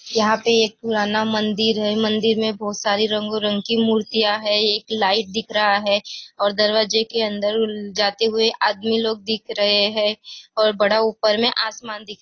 यहाँ पे एक पुराना मंदिर है मंदिर में बहुत सारी रंगो रंग की मूर्तियाँ हैं एक लाइट दिख रहा है और दरवाजे के अंदर जाते हुए आदमी लोग दिख रहे हैं और बड़ा ऊपर में आसमान दिख--